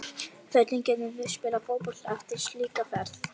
Hvernig getum við spilað fótbolta eftir slíka ferð?